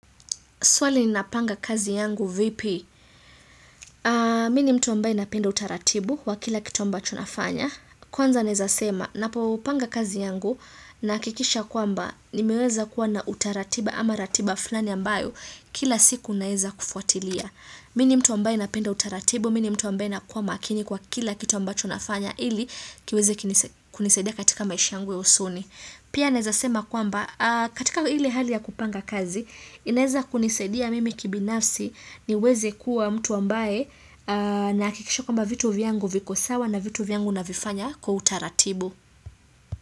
Swali ninapanga kazi yangu vipi, mimi ni mtu ambaye napenda utaratibu wa kila kitu ambacho nafanya. Kwanza naeza sema, napopanga kazi yangu nahakikisha kwamba, nimeweza kuwa na utaratibu ama ratiba fulani ambayo, kila siku naeza kufuatilia. Mimi ni mtu ambaye napenda utaratibu, mimi ni mtu ambaye nakuwa makini kwa kila kitu ambacho nafanya, ili kiweze kunisaidia katika maishi yangu ya usoni. Pia naeza sema kwamba katika ile hali ya kupanga kazi, inaeza kunisaidia mimi kibinafsi niweze kuwa mtu ambaye nahakikisha kwamba vitu vyangu viko sawa na vitu vyangu navifanya kwa utaratibu.